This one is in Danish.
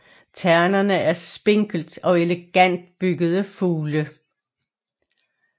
Ternerne er spinkelt og elegant byggede fugle